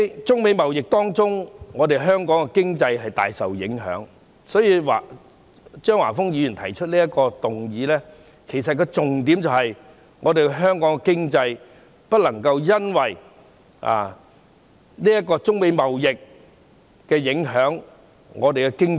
中美貿易戰令香港經濟大受影響，張華峰議員提出此項議案的重點，是要指出不能因為中美貿易戰而影響香港的經濟。